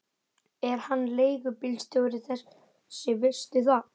Er hann leigubílstjóri þessi, veistu það?